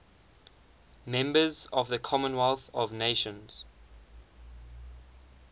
members of the commonwealth of nations